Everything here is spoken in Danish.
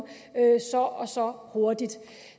så og så hurtigt